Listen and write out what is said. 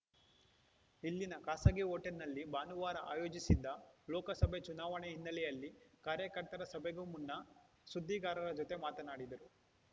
ಇಲ್ಲಿನ ಖಾಸಗಿ ಹೋಟೆಲ್‌ನಲ್ಲಿ ಭಾನುವಾರ ಆಯೋಜಿಸಿದ್ದ ಲೋಕಸಭೆ ಚುನಾವಣೆ ಹಿನ್ನೆಲೆಯಲ್ಲಿ ಕಾರ್ಯಕರ್ತರ ಸಭೆಗೂ ಮುನ್ನ ಸುದ್ದಿಗಾರರ ಜತೆ ಮಾತನಾಡಿದರು